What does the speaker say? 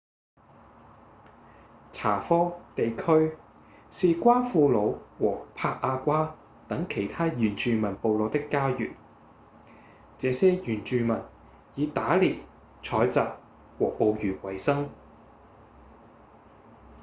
查科地區是瓜庫魯和帕亞瓜等其他原住民部落的家園這些原住民以打獵、採集和捕魚維生